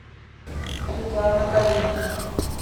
светлана калинина